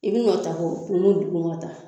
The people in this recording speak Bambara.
I dun ŋa ta kɔ nunnu dugumata